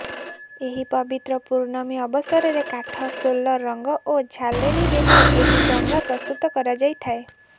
ଏହି ପବିତ୍ର ପୂର୍ଣ୍ଣମୀ ଅବସରରେ କାଠ ସୋଲ ରଂଗ ଓ ଝାଲେରୀରେ ଏହି ଡଙ୍ଗା ପ୍ରସ୍ତୁତ କରାଯାଇଥାଏ